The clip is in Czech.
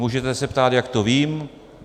Můžete se ptát, jak to vím.